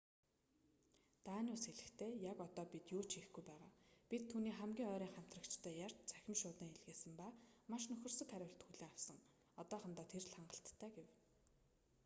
даниус хэлэхдээ яг одоо бид юу ч хийхгүй байгаа бид түүний хамгийн ойрын хамтрагчтай ярьж цахим шуудан илгээсэн ба маш нөхөрсөг хариулт хүлээн авсан одоохондоо тэр л хангалттай гэв